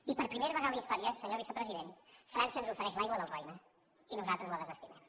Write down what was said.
i per primera vegada a la història senyor vicepresident frança ens ofereix l’aigua del roine i nosaltres la desestimem